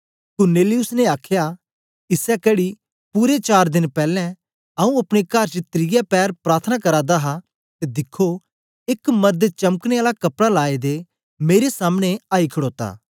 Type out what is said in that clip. कुरनेलियुस ने आखया इसै घड़ी पूरे चार देन पैलैं आऊँ अपने कर च त्रिये पैर प्रार्थना करा दा हा ते दिखो एक मरद चमकने आला कपड़ा लाए दे मेरे सामने आई खड़ोता